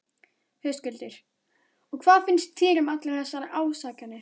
Höskuldur: Og hvað finnst þér um allar þessar ásakanir?